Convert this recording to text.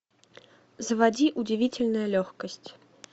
заводи удивительная легкость